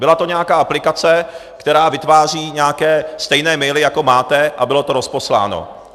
Byla to nějaká aplikace, která vytváří nějaké stejné maily, jako máte, a bylo to rozposláno.